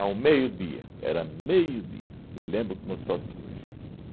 Ao meio-dia, era meio-dia, me lembro como se fosse hoje.